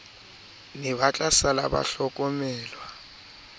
ne ba tlasala ba hlokomelwa